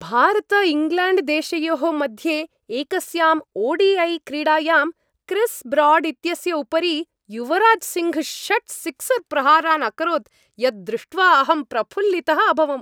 भारतइङ्ग्लेण्ड्देशयोः मध्ये एकस्याम् O D I क्रीडायां क्रिस् ब्राड् इत्यस्य उपरि युवराज् सिङ्घ् षट् सिक्सर् प्रहारान् अकरोत् यत् दृष्ट्वा अहं प्रफुल्लितः अभवम्।